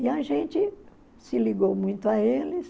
E a gente se ligou muito a eles.